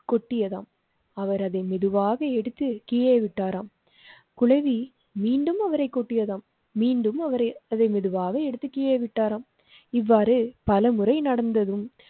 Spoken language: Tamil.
கொட்டியதாம் அவர் அதை மெதுவாக எடுத்து கீழே விட்டாராம். குழவி மீண்டும் அவரை கொட்டியதாம் மீண்டும் அவரை அதே மெதுவாக எடுத்து கீழே விட்டாராம். இவ்வாறு பல முறை நடந்ததும்.